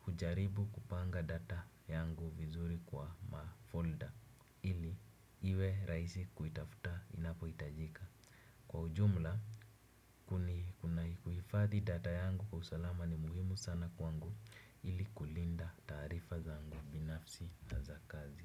hujaribu kupanga data yangu vizuri kwa ma folder ili iwe rahisi kuitafuta inapo itajika. Kwa ujumla, kuna kuhifathi data yangu kwa usalama ni muhimu sana kwangu ili kulinda tarifa zangu binafsi haza kazi.